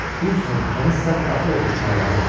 Qulsan, kənizsən, qaxıl otur xarabada.